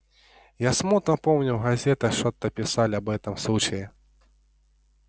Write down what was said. я смутно помню в газетах что-то писали об этом случае